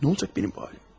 Nə olacaq bənim halım?